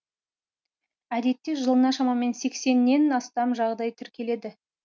әдетте жылына шамамен сексеннен астам жағдай тіркеледі